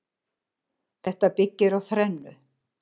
Þetta byggir á þrennu